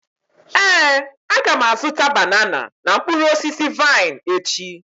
Éè, aga m azụta banana na mkpụrụ osisi vaịn echi